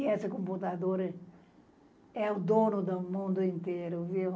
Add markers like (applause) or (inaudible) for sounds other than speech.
E esse computador (unintelligible) é o dono do mundo inteiro, viu?